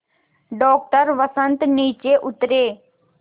doctor Vasant नीचे उतरे